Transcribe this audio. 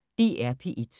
DR P1